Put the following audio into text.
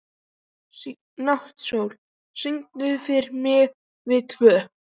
Náttsól, syngdu fyrir mig „Við tvö“.